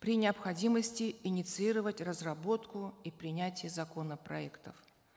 при необходимости инициировать разработку и принятие законопроектов